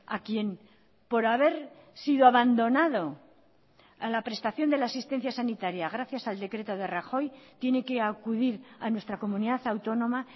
a quien por haber sido abandonado a la prestación de la asistencia sanitaria gracias al decreto de rajoy tiene que acudir a nuestra comunidad autónoma